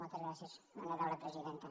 moltes gràcies honorable presidenta